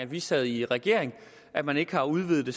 vi sad i regering og at man ikke har udvidet det